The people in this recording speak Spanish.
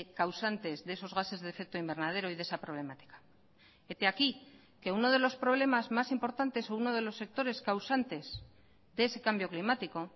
causantes de esos gases de efecto invernadero y de esa problemática hete aquí que uno de los problemas más importantes o uno de los sectores causantes de ese cambio climático